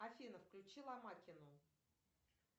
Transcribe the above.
афина включи ломакину